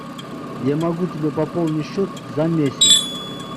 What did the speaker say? я могу тебе пополнить счет за месяц